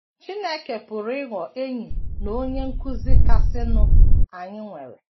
Chineke pụrụ ịghọ Enyi na Onye Nkụzi kasịnụ anyị nwere.